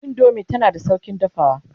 indomie tana da saukin dafawa